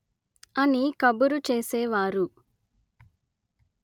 అని కబురు చేసేవారు